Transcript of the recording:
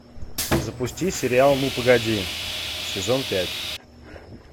запусти сериал ну погоди сезон пять